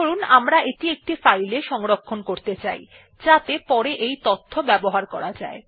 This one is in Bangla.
ধরুন আমরা এটি একটি ফাইলে সংরক্ষণ করতে চাই যাতে পরে এই তথ্য ব্যবহার করা যায়